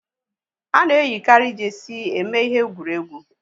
Ana eyikari jeesi eme ihe egwuregwu